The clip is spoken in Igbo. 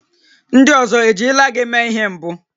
Ndị ọzọ ejirila gị mee ihe mbụ?